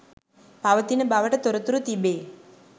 පවතින බවට තොරතුරු තිබේ